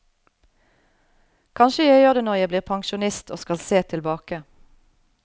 Kanskje jeg gjør det når jeg blir pensjonist og skal se tilbake.